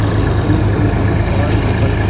ಮತ್ತು ಈ swimming pool ನಲ್ಲಿ ಹಲವಾರು ಮಕ್ಕಳು--